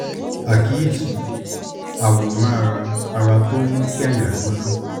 àkíyèsí: àwòrán àrà àrà tó ń mú kí àyà gbóná